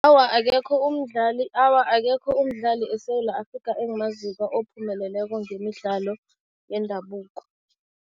Awa akekho umdlali, awa, akekho umdlali eSewula Afrika engimaziko ophumeleleko ngemidlalo yendabuko.